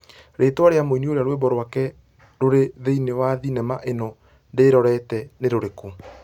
rĩtwa rĩa mũini ũrĩa rwĩmbo rwake rũrĩ thĩinĩ wa thenema ĩno ndĩrorete nĩ rĩrĩkũ